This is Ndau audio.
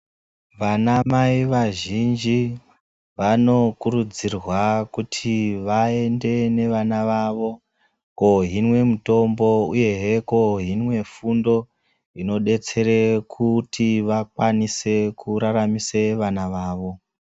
Vana mai wazhinji wanokurudzirwa kuti vaende vewana vawo kohinwe mitombo uye he kohinwe fundo inodetsere kuti vakwanise kuraramise vana vawo.